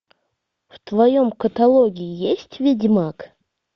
в твоем каталоге есть ведьмак